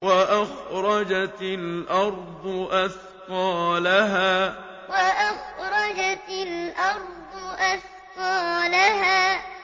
وَأَخْرَجَتِ الْأَرْضُ أَثْقَالَهَا وَأَخْرَجَتِ الْأَرْضُ أَثْقَالَهَا